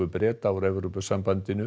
Breta úr Evrópusambandinu